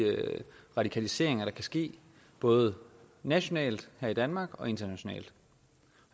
radikaliseringer der kan ske både nationalt her i danmark og internationalt